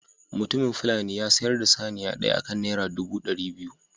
Mutumin fulani ya sayar da saniya ɗaya akan naira ɗubu ɗari biyu.